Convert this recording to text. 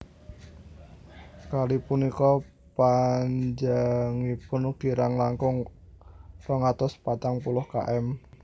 Kali punika panjangipun kirang langkung rong atus patang puluh km